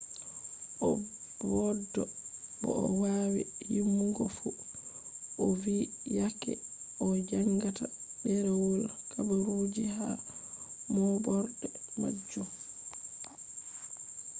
o boddo bo o wawi yimugo fu ovi yake o jangata derewol habaruji ha mooborde majum.